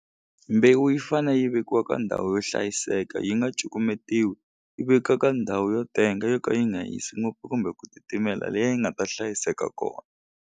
Mbewu yi fane yi vekiwa ka ndhawu yo hlayiseka yi nga cukumetiwi yi veka ka ndhawu yo tenga yo ka yi nga hisi ngopfu kumbe ku titimela liya yi nga ta hlayiseka kona.